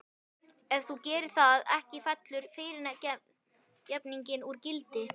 Ef þú gerir það ekki fellur fyrirgefningin úr gildi.